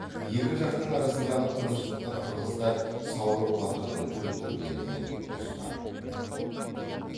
екі жақтың арасындағы тыныштықты қырғыздар саурық батырдың өлтіргенімен бұзды